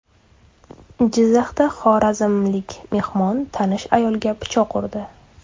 Jizzaxda xorazmlik mehmon tanish ayolga pichoq urdi.